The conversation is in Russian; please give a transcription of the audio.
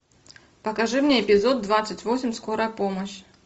покажи мне эпизод двадцать восемь скорая помощь